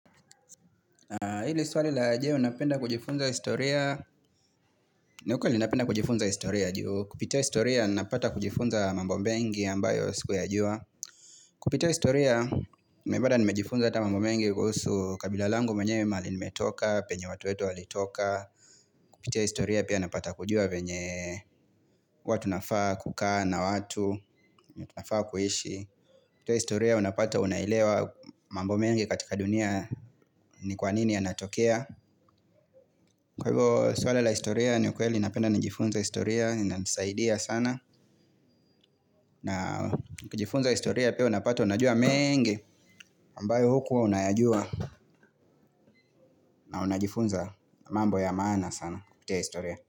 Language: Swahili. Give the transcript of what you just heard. Hili swali la je unapenda kujifunza historia, niukweli napenda kujifunza historia juu, kupitia historia napata kujifunza mambo mbengi ambayo siku ya jua. Kupitia historia, mebada nimejifunza ata mambo mengi kuhusu kabila langu mwenyewe mahali nimetoka, penye watu wetu walitoka. Kupitia historia pia napata kujua venye huwatunafaa kukaa na watu, tunafaa kuhishi. Kupitia historia unapata unaelewa mambo mengi katika dunia ni kwanini ya natokea kwa hivyo swala la historia ni ukweli. Napenda na jifunza historia inanisaidia sana. Na nikijifunza historia pia unapata unajua mengi ambayo hukuwa unayajua. Na unajifunza mambo ya maana sana. Kupitia historia.